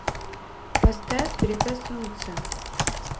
поставь прикоснуться